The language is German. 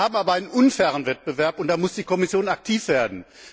Wir haben aber einen unfairen Wettbewerb, und da muss die Kommission aktiv werden.